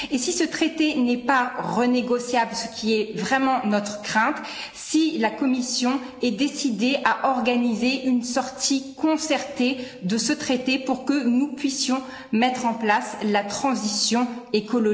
Et si ce traité n'est pas renégociable, ce qui est vraiment notre crainte, nous aimerions savoir si la Commission est décidée à organiser une sortie concertée de ce traité, pour que nous puissions mettre en place la transition écologique.